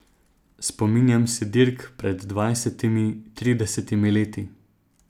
Spominjam se dirk pred dvajsetimi, tridesetimi leti.